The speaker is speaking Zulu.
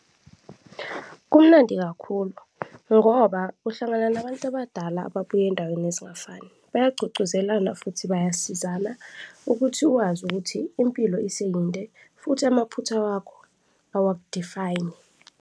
Kumnandi kakhulu ngoba uhlangana nabantu abadala ababuya ezindaweni ezingafani, bayagqugquzelana futhi bayasizana ukuthi wazi ukuthi impilo iseyinde futhi amaphutha wakho awaku-define-i.